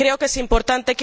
Creo que es importante.